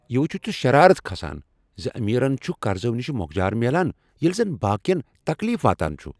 یِہ ؤچِتھ چُھ شرارت کھسان زِ امیرن چھ قرضو نِش موكجارمیلان ییلِہ زن باقٕین تكلیف واتان چُھ ۔